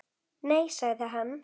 Nei sagði hann.